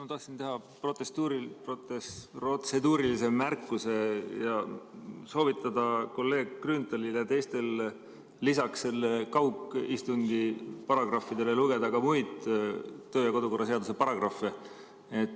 Ma tahtsin teha protseduurilise märkuse ja soovitada kolleeg Grünthalil ja teistel lisaks kaugistungi paragrahvidele lugeda ka muid kodu- ja töökorra seaduse paragrahve.